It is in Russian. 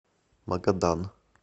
магадан